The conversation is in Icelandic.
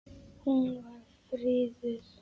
Hún er friðuð.